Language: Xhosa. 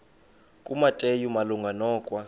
kumateyu malunga nokwa